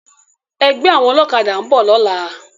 Ègbè áwòn òlòkàdá n bò lòlá